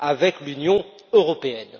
pour l'Union européenne.